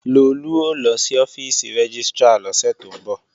Lolú ó lọ sí ọ́fíìsì rẹ́gístrà lọ́sẹ̀ tó ń bọ̀